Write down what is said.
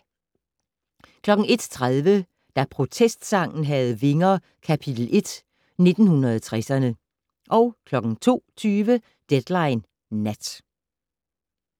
01:30: Da protestsangen havde vinger - kapitel 1: 1960'erne 02:20: Deadline Nat